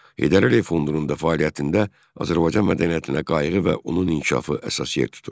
Heydər Əliyev fondunun da fəaliyyətində Azərbaycan mədəniyyətinə qayğı və onun inkişafı əsas yer tutur.